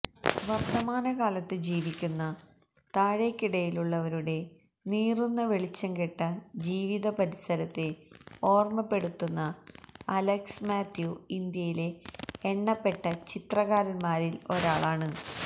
വര്ത്തമാനകാലത്ത് ജീവിക്കുന്ന താഴേക്കിടയിലുള്ളവരുടെ നീറുന്ന വെളിച്ചംകെട്ട ജീവിതപരിസരത്തെ ഓര്മ്മപ്പെടുത്തുന്ന അലക്സ് മാത്യു ഇന്ത്യയിലെ എണ്ണപ്പെട്ട ചിത്രകാരന്മാരില് ഒരാളാണ്